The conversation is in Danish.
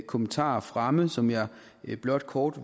kommentarer fremme som jeg blot kort